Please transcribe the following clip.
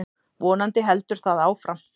Vonandi heldur það áfram.